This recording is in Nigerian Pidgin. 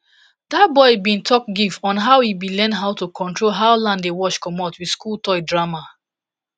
dat boy bin talk give on how he bin learn how to control how land dey wash comot with school toy drama